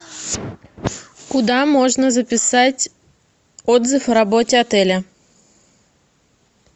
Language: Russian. куда можно записать отзыв о работе отеля